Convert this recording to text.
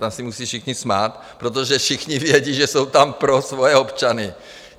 Tam se musí všichni smát, protože všichni vědí, že jsou tam pro svoje občany.